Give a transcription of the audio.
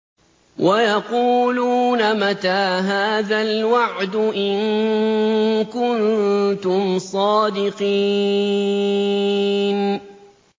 وَيَقُولُونَ مَتَىٰ هَٰذَا الْوَعْدُ إِن كُنتُمْ صَادِقِينَ